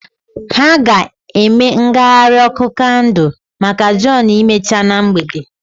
Ha ga-eme ngagharị ọkụ kandụl maka john emechaa na mgbede.